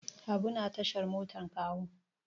Habu na tashar motar Kawo.